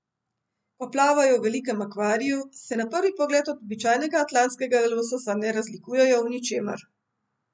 Ko plavajo v velikem akvariju, se na prvi pogled od običajnega atlantskega lososa ne razlikujejo v ničemer.